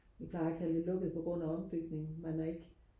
vi plejer at kalde det lukket på grund af ombygning man er ikke